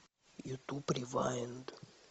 ютуб ревайнд